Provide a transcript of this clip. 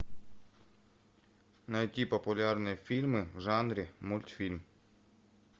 найти популярные фильмы в жанре мультфильм